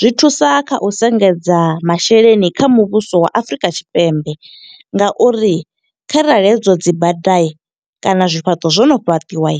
Zwi thusa kha u sengedza masheleni kha muvhuso wa Afrika Tshipembe, nga uri kharali hedzo dzi bada kana zwifhaṱo zwo no fhaṱiwa.